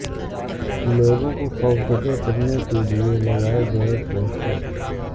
لوگوں کو خوفزدہ کرنے کے لئے لگائے گئے پوسٹر